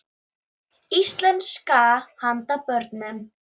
Íslandssaga handa börnum.